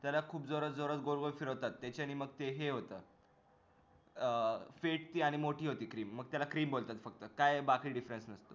त्याला खूप जोरात जोरात गोलगोल फिरवतात त्याच्याने त्याच्याने मग ते हे होत अं पेटती आणि मोठी होती cream मग त्याला cream बोलतात फक्त काय बाकी difference